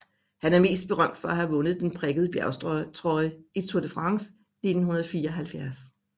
Han er mest berømt for at have vundet den prikkede bjergtrøje i Tour de France 1974